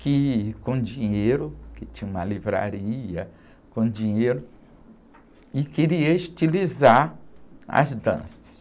que com dinheiro, que tinha uma livraria com dinheiro, e queria estilizar as danças.